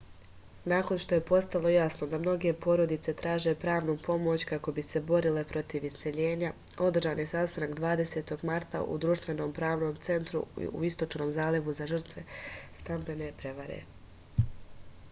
nakon što je postalo jasno da mnoge porodice traže pravnu pomoć kako bi se borile protiv iseljenja održan je sastanak 20. marta u društvenom pravnom centru u istočnom zalivu za žrtve stambene prevare